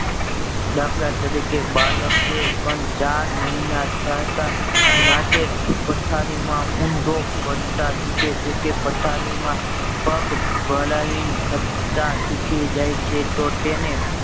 દાખ્લાતારીકે બાળકે પણ ચાર મહિના થતા રાતે પથારીમાં ઊંધો પડતા શીખે છે કે પથારીમાં પગ હલાવીને ખસતા શીખી જાય છે તો તેને